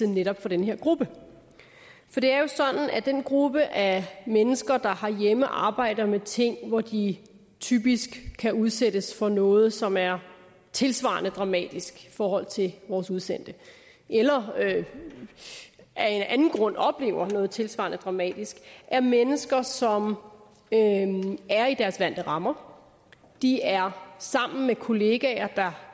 netop den her gruppe for det er jo sådan at den gruppe af mennesker der herhjemme arbejder med ting at de typisk udsættes for noget som er tilsvarende dramatisk i forhold til vores udsendte eller af en anden grund oplever noget tilsvarende dramatisk er mennesker som er i deres vante rammer de er sammen med kollegaer der